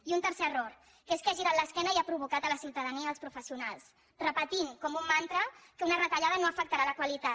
i un tercer error que és que ha girat l’esquena i ha provocat la ciutadania i els professionals repetint com un mantra que una retallada no afectarà la qualitat